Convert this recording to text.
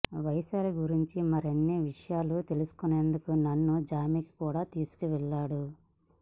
వైశాలి గురించి మరిన్ని విషయాలు తెలుసుకునేందుకు నన్ను జిమ్కి కూడా తీసుకెళ్లేవాడు